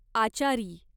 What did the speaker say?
आचारी